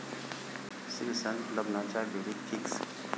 श्रीसंत लग्नाच्या बेडीत 'फिक्स'